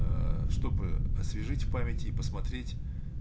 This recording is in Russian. аа чтобы освежить в память и посмотреть